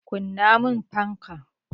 Kunna mun fanka!